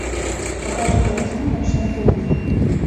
покажи картину ночной тариф